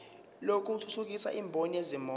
lokuthuthukisa imboni yezimoto